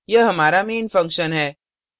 यह हमारा main function है